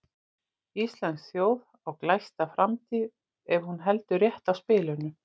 Íslensk þjóð á glæsta framtíð ef hún heldur rétt á spilunum.